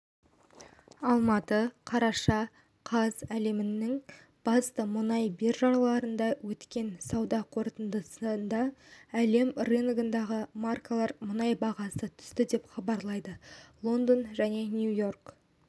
алматы қараша қаз әлемнің басты мұнай биржаларында өткен сауда қортындысында әлем рыногындағы маркалы мұнай бағасы түсті деп хабарлайды лондон және нью-йорк